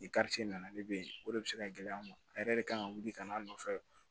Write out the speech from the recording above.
I karice nana ne bɛ yen o de bɛ se ka gɛlɛya ma a yɛrɛ de kan ka wuli ka n'a nɔfɛ